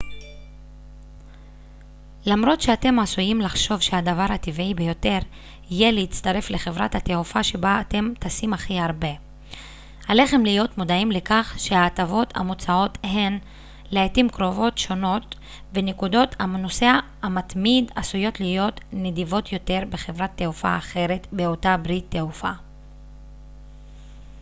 למרות שאתם עשויים לחשוב שהדבר הטבעי ביותר יהיה להצטרף לחברת התעופה שבה אתם טסים הכי הרבה עליכם להיות מודעים לכך שההטבות המוצעות הן לעתים קרובות שונות ונקודות הנוסע המתמיד עשויות להיות נדיבות יותר בחברת תעופה אחרת באותה ברית תעופה